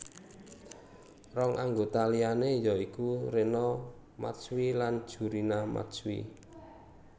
Rong anggota liané ya iku Rena Matsui lan Jurina Matsui